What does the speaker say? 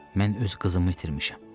Mən öz qızımı itirmişəm.